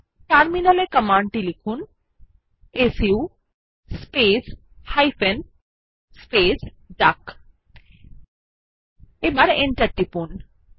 terminal এ command টি লিখুন সু স্পেস হাইফেন স্পেস ডাক এবং এন্টার টিপুন